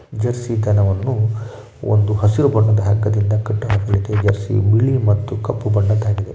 Jessie ಹಸುವನ್ನು ಒಂದು ಹಸಿರು ಬಣ್ಣದ ಹಗ್ಗದಿಂದ ಕಟ್ಟಲಾಗಿದೆ ಹಸು ಬಿಳಿ ಮತ್ತು ಕಪ್ಪು ಬಣ್ಣದ ಆಗಿದೆ.